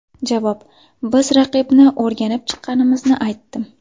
Javob: Biz raqibni o‘rganib chiqqanimizni aytdim.